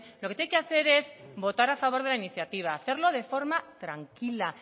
lo que tiene que hacer es votar a favor de la iniciativa hacerlo de forma tranquila